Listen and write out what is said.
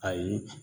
Ayi